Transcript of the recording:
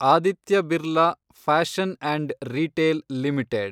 Aditya Birla fashion and retail limited